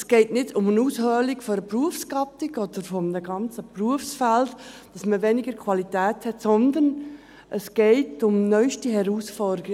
– Es geht nicht um die Aushöhlung einer Berufsgattung oder eines ganzen Berufsfelds, dass man weniger Qualität hat, sondern es geht um neueste Herausforderungen.